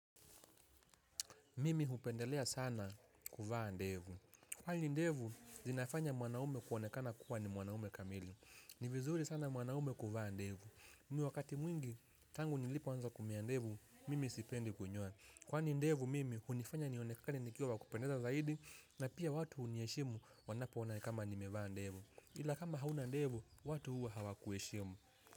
Mimi hupendelea sana kuvaa ndevu. Kwani ndevu, zinafanya mwanaume kuonekana kuwa ni mwanaume kamili. Ni vizuri sana mwanaume kuvaa ndevu. Wakati mwingi, tangu nilipoanza kumea ndevu, mimi sipendi kunyoa. Kwani ndevu, mimi, hunifanya nionekane nikiwa wa kupendeza zaidi, na pia watu huniheshimu wanapoona kama nimevaa ndevu. Ila kama hauna ndevu, watu huwa hawakuheshimu.